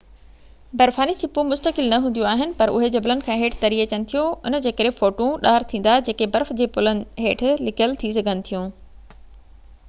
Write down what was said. برفاني ڇپون مستقل نہ هونديون آهن پر اهي جبلن کان هيٺ تري اچن ٿيون ان جي ڪري ڦوٽون ڏار ٿيندا جيڪي برف جي پلن هيٺ لڪيل ٿي سگهن ٿيون